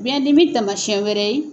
Bidimi tamawsiyɛn wɛrɛ ye